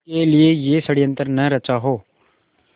के लिए यह षड़यंत्र न रचा हो